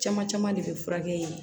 Caman caman de bɛ furakɛ yen